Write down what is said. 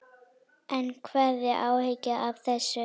En hefurðu áhyggjur af þessu?